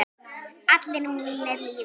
Allir mínir lifa.